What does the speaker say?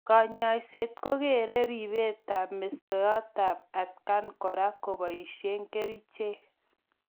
Kanyoiset ko kere ribetab mistoetab atkan kora keboishe kerichek.